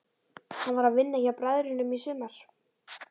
Hann var að vinna hjá bræðrunum í sumar.